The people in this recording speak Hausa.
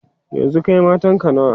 yanzun Kai matanka nawa?